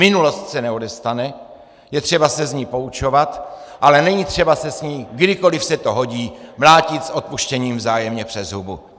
Minulost se neodestane, je třeba se z ní poučovat, ale není třeba se s ní, kdykoliv se to hodí, mlátit - s odpuštěním - vzájemně přes hubu.